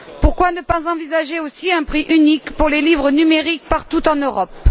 Pourquoi ne pas envisager aussi un prix unique pour les livres numériques partout en Europe?